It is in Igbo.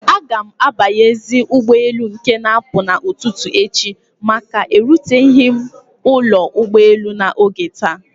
Agam abanyezi ụgbọ elu nke na apụ na ụtụtụ echi maka na eruteghi m ụlọ ụgbọ elu na oge taa